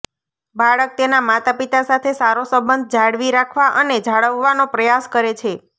બાળક તેના માતાપિતા સાથે સારો સંબંધ જાળવી રાખવા અને જાળવવાનો પ્રયાસ કરે છે